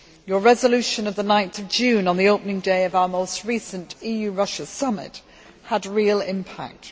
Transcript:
Your resolution of 9 June on the opening day of our most recent EU Russia summit had real impact.